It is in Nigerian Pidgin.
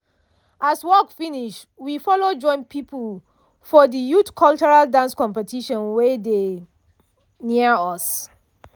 as work finish we follow join people for de youth cultural dance competition wey dey near us.